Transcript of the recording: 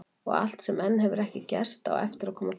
Og allt sem enn hefur ekki gerst, á eftir að koma fram.